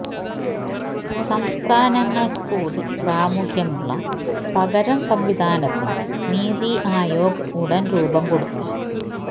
സംസ്ഥാനങ്ങള്ക്കുകൂടി പ്രാമുഖ്യമുള്ള പകരം സംവിധാനത്തിന് നിതി ആയോഗ് ഉടന് രൂപം കൊടുക്കും